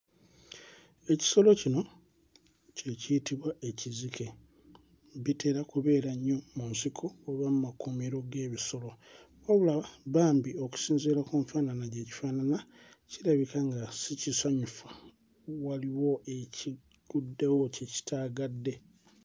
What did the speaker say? Ekisolo kino kye kiyitibwa ekizike. Bitera kubeera nnyo mu nsiko oba mu makuumiro g'ebisolo wabula mbambi okusinziira ku nfaanana gye kifaanana kirabika nga si kisanyufu waliwo ekigguddewo kye kitaagadde.